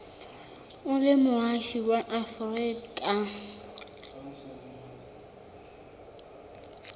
o le moahi wa afrika